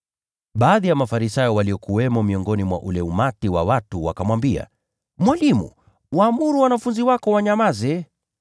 Baadhi ya Mafarisayo waliokuwamo miongoni mwa ule umati wa watu wakamwambia, “Mwalimu, waamuru wanafunzi wako wanyamaze.”